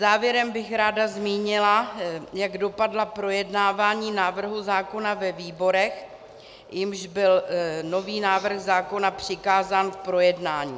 Závěrem bych ráda zmínila, jak dopadla projednávání návrhu zákona ve výborech, jimž byl nový návrh zákona přikázán k projednání.